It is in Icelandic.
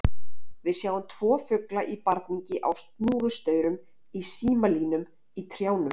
Við sjáum tvo fugla í barningi á snúrustaurum, í símalínum, í trjánum.